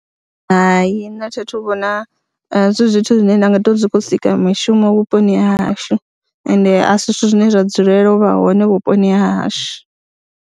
Hai, nṋe a tha thu vhona zwi zwithu zwine nda nga tou zwi khou sika mishumo vhuponi ha hashu ende a si zwithu zwine zwa dzulela u vha hone vhuponi ha hashu.